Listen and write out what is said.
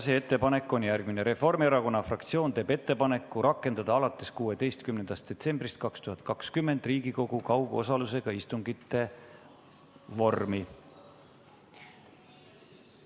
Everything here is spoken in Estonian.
Ettepanek on järgmine: Reformierakonna fraktsioon teeb ettepaneku rakendada alates 16. detsembrist 2020 Riigikogu kaugosalusega istungite vormi.